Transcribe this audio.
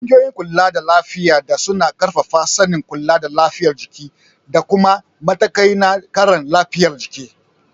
Ƙungiyoyin kulada lafiya da suna ƙarfafa sanin kula da lafiyar jiki da kuma matakai na kare lafiyar jiki.